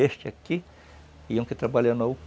Este aqui e um que trabalha na